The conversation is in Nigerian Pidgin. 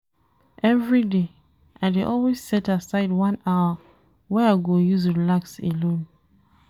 Everyday, I dey always set aside one hour wey I go use relax alone.